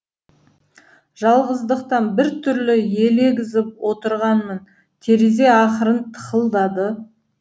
жалғыздықтан бір түрлі елегізіп отырғанмын терезе ақырын тықылдады